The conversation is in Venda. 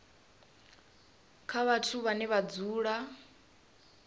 kha vhathu vhane vha dzula